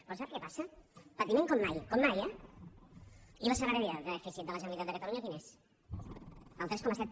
però sap què passa patiment com mai com mai eh i l’escenari de dèficit de la generalitat de catalunya quin és el tres coma set